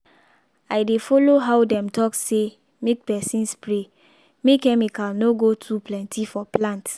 i dey follow how dem talk say make person spray make chemical no go too plenty for plant.